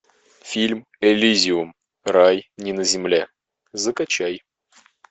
фильм элизиум рай не на земле закачай